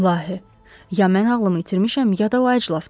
İlahi, ya mən ağlımı itirmişəm, ya da lajlavdı.